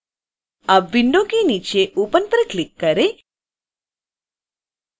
अब विंडो के नीचे open पर क्लिक करें